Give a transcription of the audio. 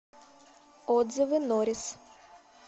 отзывы норис